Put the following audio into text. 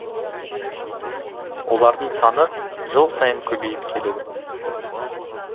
олардың саны жыл сайын көбейіп келеді